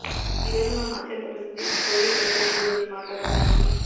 ఈ రోజు మనం అత్యంత ప్రసిద్ధ సోవియట్ రచయితల గురించి మాట్లాడటానికి